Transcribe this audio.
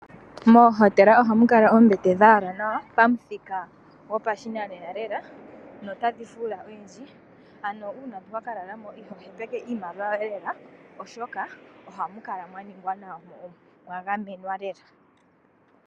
Moohotela ohamu kala oombete dha yalwa nawa pamuthika gopashinanena lela. Dho otadhi fuula unene ano uuna wa ka lala mo ito hepeke iimaliwa yoye lela oshoka ohamu kala mwa ningwa nawa mo omwa gamenwa lela.